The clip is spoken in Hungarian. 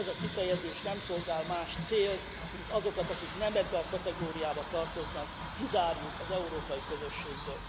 Ez a kifejezés nem szolgál más célt, mint hogy azokat, akiket nem ebbe a kategóriába tartoznak, kizárjuk az európai közösségből.